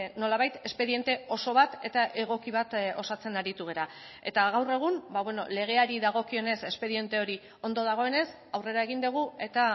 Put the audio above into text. nolabait espediente oso bat eta egoki bat osatzen aritu gara eta gaur egun legeari dagokionez espediente hori ondo dagoenez aurrera egin dugu eta